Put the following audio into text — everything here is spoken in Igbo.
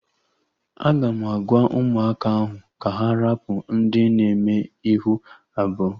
Aga m agwa ụmụaka ahụ ka ha rapụ ndị na eme ihu abụọ